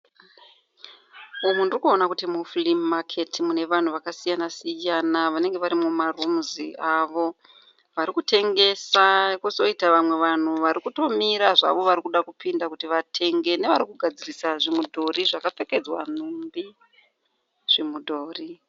Umu ndirikuona kuti mufurii maketi mune vanhu vakasiyana siyana vanenge vari mumarumuzi avo, varikutengesa kozoita vamwe vanhu varikutomira varikuda kupinda zvavo kuti vatenge nevari kugadzirisa zvimudhori zvakapfekedzwa nhumbi, zvimudhori.